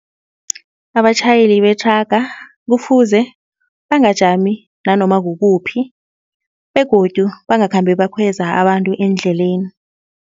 Abatjhayeli bethraga kufuze bangajami nanoma kukuphi begodu bangakhambi bakhweza abantu endleleni.